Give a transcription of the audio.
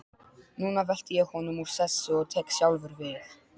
Núna velti ég honum úr sessi og tek sjálfur við.